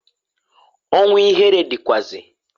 Ọnwu ihere dịkwaazi.